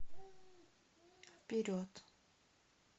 вперед